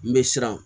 N bɛ siran